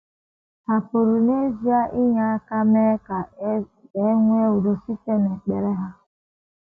Hà pụrụ n’ezie inye aka mee ka e nwee udo site n’ekpere ha?